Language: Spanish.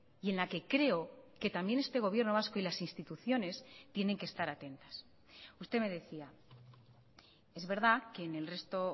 y en la que creo que también este gobierno vasco y las instituciones tienen que estar atentas usted me decía es verdad que en el resto